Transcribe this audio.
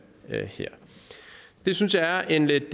det synes jeg er en lidt